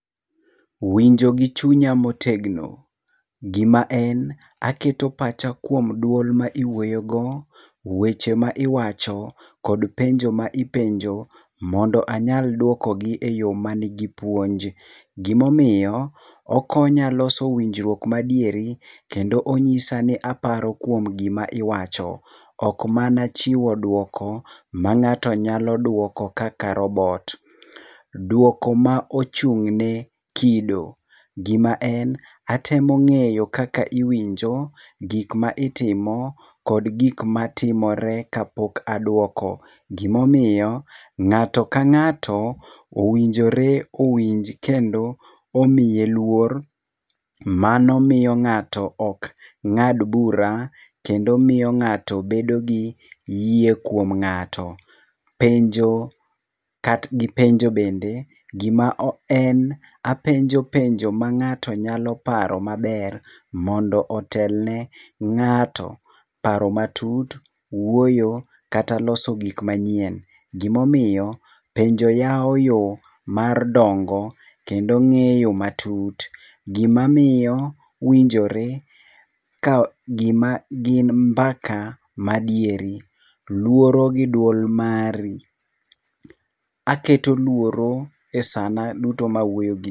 Winjo gi chunya motegno. Gima en, aketo pacha kuom duol ma iwuoyogo, weche ma iwacho kod penjo ma ipenjo mondo anyal duokogi eyo manigi puonj. Gimomiyo okonya loso gima nigi winjruok madieri, kendo onyisa ni aparo kuom gima iwacho. Ok mana chiwo duoko ma ng'ato nyalo duoko kaka robot. Duoko ma ochung' ne kido, gima en atemo ng'eyo kaka iwinjo, gik ma itimo kod gik matimore kapok aduoko. Gima omiyo ng'ato ka ng'ato owinjore owinj kendo omiye luor. Mano miyo ng'ato ok ng'ad bura kendo miyo ng'ato bedo gi yie kuom ng'ato. Penjo kat gi penjo bende. Gima en apenjo penjo ma ng'ato nyalo paro maber mondo otelne ng'ato. Paro matut, wuoyo kata los gik manyien. Gimomiyo penjpo yawo yo mar dongo kendo ng'eyo matut gimamiyo winjore ka gima gin mbaka madieri. Luoro gi duol mari. Aketo luoro e sana duto ma awuoyo gi ji.